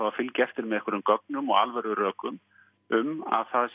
að fylgja eftir með einhverjum gögnum og alvöru rökum um að